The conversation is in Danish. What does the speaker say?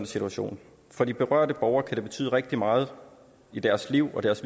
situation for de berørte borgere kan det betyde rigtig meget i deres liv og deres